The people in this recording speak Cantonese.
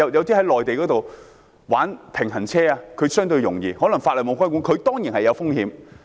在內地玩平衡車，情況相對容易，可能因為法例沒有規管，但這樣當然是有風險的。